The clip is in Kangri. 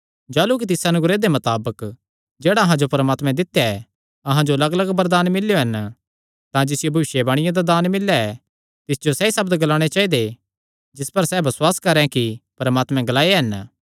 जाह़लू कि तिस अनुग्रह दे मताबक जेह्ड़ा अहां जो परमात्मे दित्या ऐ अहां जो लग्गलग्ग वरदान मिल्लेयो हन तां जिसियो भविष्यवाणी दा दान मिल्लेया ऐ तिस जो सैई सब्द ग्लाणे चाइदे जिस पर सैह़ बसुआस करैं कि परमात्मे ग्लाये हन